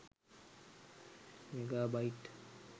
mega bite